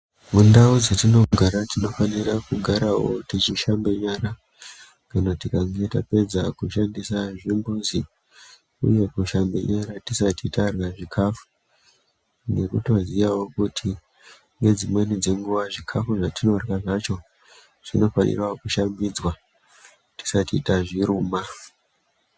Mundau dzetinogara tinofanira kugarawo techishambe nyara kana tikange tapedza kushandise zvimbuzi, uye uye kushambe nyara tisati tarya zviikafu, nekutoziyawo kuti nedzimweni dzenguwa zvikafu zvatinorya zvacho zvinofanira kushambidzwa tisati tazviruma.